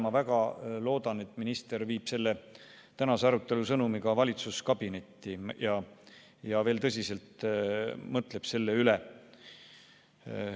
Ma väga loodan, et minister viib selle tänase arutelu sõnumi ka valitsuskabinetti ja mõtleb veel tõsiselt selle üle.